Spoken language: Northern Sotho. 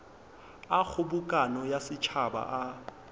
a kgobokano ya setšhaba a